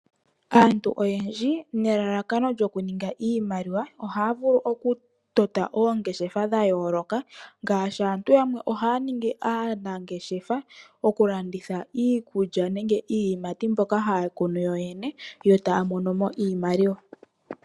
Aantu oyendji nelalakono lyoku ninga iimaliwa ohaa vulu okutota oongeshefa dha yooloka, ngaashi aantu yamwe ohaya ningi aanangeshefa okulanditha iikulya nenge iiyimati mbyoka haa kunu yoyene yo taya monomo iimaliwa.